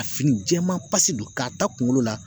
A fini jɛman pasi don k'a ta kunkolo la